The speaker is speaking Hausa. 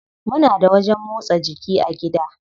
Muna da wajen motsa jiki a gida.